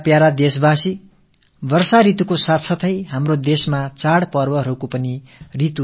எனதருமை நாட்டு மக்களே மழைக்காலத்தோடு ஒட்டி நம் நாட்டில் பல பண்டிகைகளின் பருவமும் தொடங்குகிறது